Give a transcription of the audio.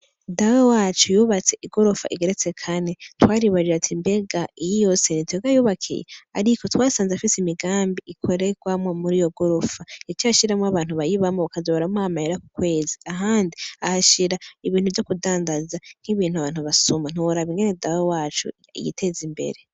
Dawe wacu yubatse i gorofa igeretse kane twaribarira ati imbega iyi yo senityoga yubakiye, ariko twasanze afise imigambi ikorerwamwo muri yo gorofa ni co ashiramwo abantu bayibamo kazobaramwamaera ku kwezi ahandi ahashira ibintu vyo kudangaza nk'ibintu abantu basuma ntiworaba ingene dawe wacu igiteza imbere.